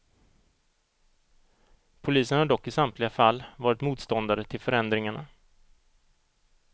Polisen har dock i samtliga fall varit motståndare till förändringarna.